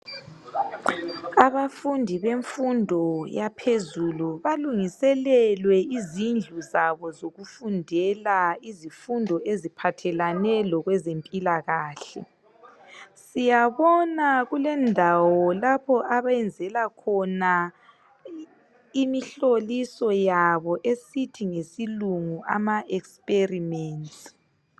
abafundi bemfundo yaphezulu balungiselelwe izindlu zabo zokufundela izifundo eziphathelane lokwezempilakahle siyabona kulendawo lapho akwenzelwa khona imihloliso yabo esithi ngesilungu ama experiments